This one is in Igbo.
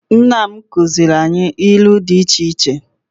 Nna m kụziere anyị ilu dị iche iche.